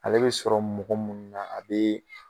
Ale bɛ sɔrɔ mɔgɔ mun na a be